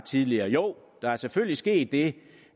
tidligere jo der er selvfølgelig sket det